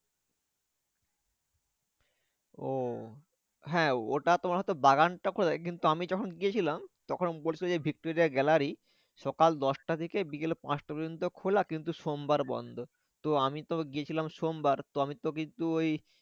ও হ্যাঁ ওটা তোমার হয় তো বাগানটা খোলা থাকে কিন্তু আমি যখন গিয়েছিলাম তখন বলেছিলো যে ভিক্টোরিয়া gallery সকাল দশটা থেকে বিকাল পাঁচটা পর্যন্ত খোলা কিন্তু সোমবার বন্ধ। তো আমি তো গিয়েছিলাম সোমবার আমি তো কিন্তু ওই